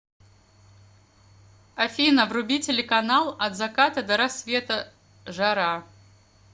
афина вруби телеканал от заката до рассвета жара